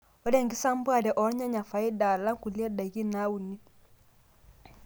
Keeta enkisampuare oo rnyanya faida alang' kulie daiki naauni.